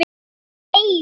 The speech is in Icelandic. í Eyjum.